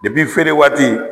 feere waati